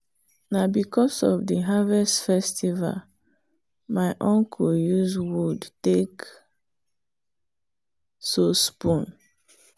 na because of the harvest festival my uncle use wood take so spoon.